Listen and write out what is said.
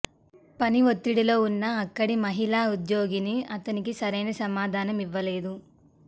పని ఒత్తిడిలో ఉన్న అక్కడి మహిళా ఉద్యోగిని అతనికి సరైన సమాధానం ఇవ్వలేదు